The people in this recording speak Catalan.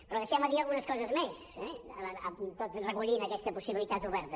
però deixeu me dir algunes coses més eh tot recollint aquesta possibilitat oberta